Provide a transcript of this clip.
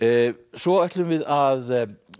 svo ætlum við að